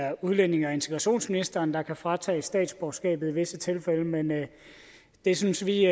at udlændinge og integrationsministeren kan fratage statsborgerskabet i visse tilfælde men det synes vi